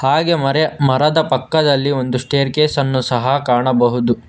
ಹಾಗೆ ಮರೆ ಮರದ ಪಕ್ಕದಲ್ಲಿ ಒಂದು ಸ್ಟೇರಕೇಸ್ ಅನ್ನು ಸಹ ಕಾಣಬಹುದು.